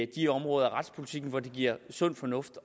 de områder af retspolitikken hvor det giver sund fornuft